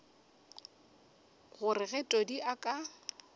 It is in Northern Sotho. gore ge todi a ka